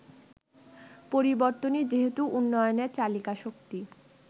পরিবর্তনই যেহেতু উন্নয়নের চালিকাশক্তি